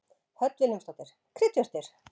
Hödd Vilhjálmsdóttir: Kryddjurtir?